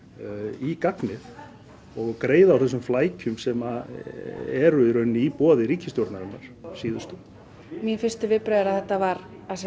í gagnið og greiða úr þessum flækjum sem eru í rauninni í boði ríkisstjórnarinnar síðustu mín fyrstu viðbrögð eru að þetta var